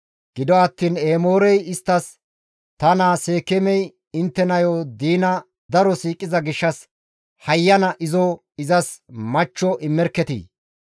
Gido attiin Emoorey isttas, «Ta naa Seekeemey intte nayo diina daro siiqiza gishshas hayyana izo izas machcho immerketii!